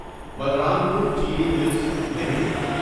بلرام پور Chini mills limited